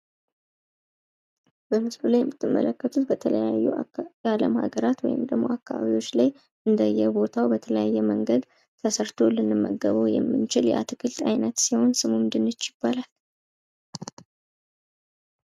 በምስሉ ላይ የምትመለከቱት በተለያዩ የአለም ሃገራት ወይም ደሞ አካባቢዎች ላይ ፤ እንደየ ቦታዉ በተለያየ መንገድ ተሰርቶ የምናየው ሲሆን ፤ ስሙም ድንች ይባላል።